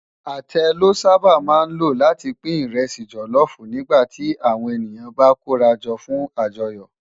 Atẹ lò sàbá má ló láti pin ìrẹsì jòlòfú nigbá ti áwòn eniyàn bá kórájò fún ájòyò